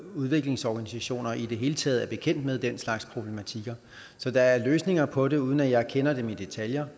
udviklingsorganisationer er i det hele taget bekendt med den slags problematikker så der er løsninger på det uden at jeg kender dem i detaljer